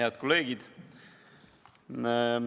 Head kolleegid!